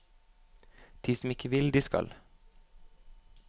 De som ikke vil, de skal.